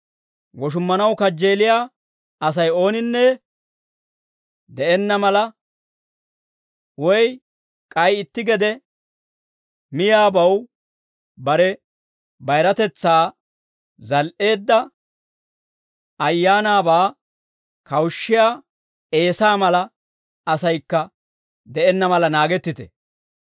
Woshummanaw kajjeeliyaa Asay ooninne de'enna mala, woy k'ay itti gede miyaabaw bare bayiratetsaa zal"eedda, ayaanaabaa kawushissiyaa Eesaa mala asaykka de'enna mala naagettite.